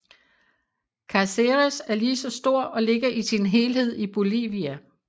Cáceres er lige så stor og ligger i sin helhed i Bolivia